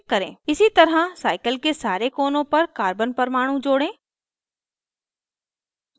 इसी तरह cycle के सारे कोनों पर carbon परमाणु जोड़ें